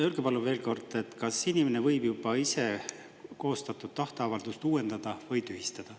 Öelge palun veel kord, kas inimene võib juba ise koostatud tahteavaldust uuendada või tühistada.